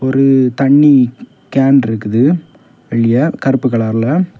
ஒரு தண்ணி கேன் இருக்குது வெளிய கருப்பு கலர்ல .